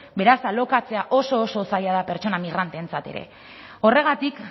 beraz alokatzea oso oso zaila da pertsona migranteentzat ere horregatik